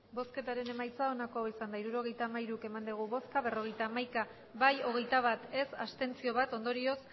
emandako botoak hirurogeita hamairu bai berrogeita hamaika ez hogeita bat abstentzioak bat ondorioz